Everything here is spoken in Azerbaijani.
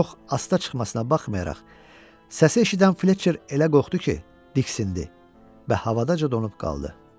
Çox asta çıxmasına baxmayaraq, səsi eşidən Fletcher elə qorxdu ki, diksindi və havadaca donub qaldı.